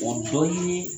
O dɔ ye